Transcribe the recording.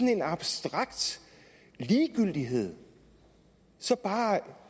en abstrakt ligegyldighed bare